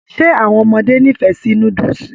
Ṣe àwọn ọmọdé n'ifẹ sí núdúsí?